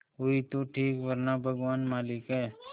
हुई तो ठीक वरना भगवान मालिक है